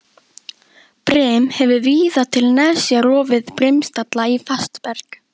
Brim hefur víða til nesja rofið brimstalla í fast berg.